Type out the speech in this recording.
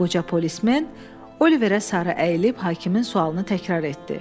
Qoca polismen Oliverə sarı əyilib hakimin sualını təkrar etdi.